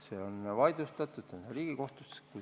See on vaidlustatud, see on Riigikohtus.